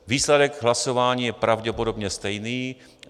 Výsledek hlasování je pravděpodobně stejný.